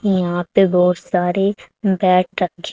यहां पे बहोत सारे बैट रखें--